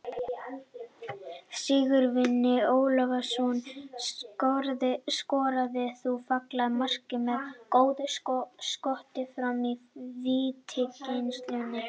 Sigurvin Ólafsson skoraði þá fallegt mark með góðu skoti frá vítateigslínunni.